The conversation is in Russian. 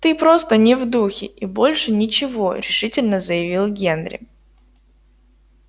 ты просто не в духе и больше ничего решительно заявил генри